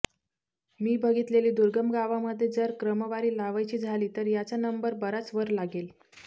मी बघीतलेल्या दुर्गम गावामध्ये जर क्रमवारी लावायची झाली तर याचा नंबर बराच वर लागेल